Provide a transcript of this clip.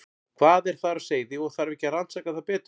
Hvað er þar á seyði og þarf ekki að rannsaka það betur?